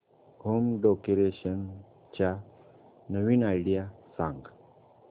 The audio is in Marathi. होम डेकोरेशन च्या नवीन आयडीया सांग